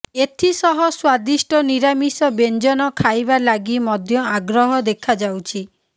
ଏଥିସହ ସ୍ୱାଦିଷ୍ଟ ନିରାମିଷ ବ୍ୟଞ୍ଜନ ଖାଇବା ଲାଗି ମଧ୍ୟ ଆଗ୍ରହ ଦେଖାଯାଉଛି